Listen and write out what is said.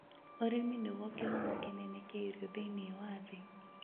Ũrĩmi nĩguo kĩhumo kĩnene kĩa irio thĩinĩ wa thĩ